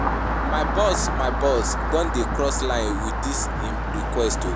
My boss my boss don dey cross line wit dis im request o.